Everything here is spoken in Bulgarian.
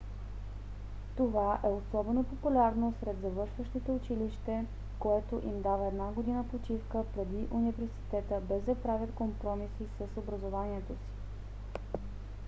това е особено популярно сред завършващите училище което им дава една година почивка преди университета без да правят компромиси с образованието си